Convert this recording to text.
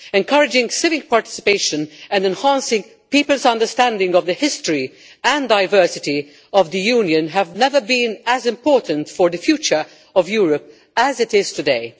Encouraging civic participation and enhancing people's understanding of the history and diversity of the Union has never been as important for the future of Europe as it is today.